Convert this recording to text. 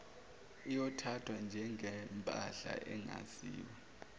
iyothathwa njengempahla engaziwa